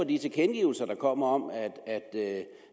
de tilkendegivelser der kommer om